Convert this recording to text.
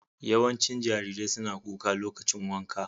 Yawancin jarirai suna kuka lokacin wanka.